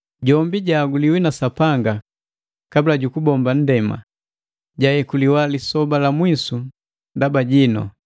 Jombi jahaguliwi na Sapanga kabula jukubomba nndema, jayekuliwa lisoba la mwisu ndaba jinu.